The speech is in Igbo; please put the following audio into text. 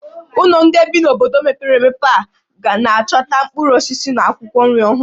Unu ndị bi n'obodo mepere emepe a na-achọta mkpụrụ osisi na akwụkwọ nri ọhụrụ?